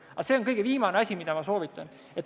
Aga see on kõige viimane asi, mida ma soovitan.